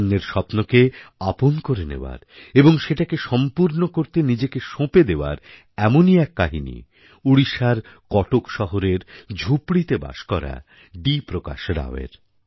অন্যের স্বপ্নকে আপন করে নেওয়ারএবং সেটাকে সম্পূর্ণ করতে নিজেকে সঁপে দেওয়ার এমনই এক কাহিনিওড়িশার কটক শহরের ঝুপড়িতে বাস করা ডি প্রকাশ রাওয়ের